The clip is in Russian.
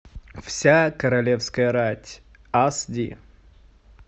вся королевская рать ас ди